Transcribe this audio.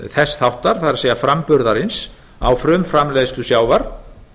þess þáttar það er framburðarins á frumframleiðslu sjávar